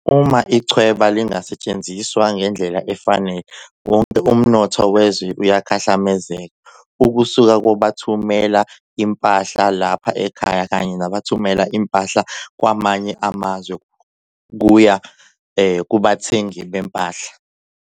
Uma ichweba lingasetshenziswa ngendlela efanele, wonke umnotho wezwe uyakhahlamezeka, ukusuka kwabathumela impahla lapha ekhaya kanye nabathumela impahla kwamanye amazwe kuya kubathengi bempahla.